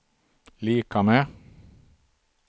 lika med